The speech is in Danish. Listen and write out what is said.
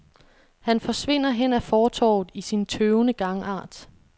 Han forsvinder hen ad fortovet i sin tøvende gangart.